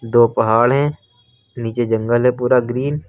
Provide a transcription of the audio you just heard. दो पहाड़ है नीचे जंगल है पूरा ग्रीन --